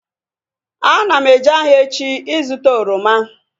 Ana m eje ahịa echi ịzụta oroma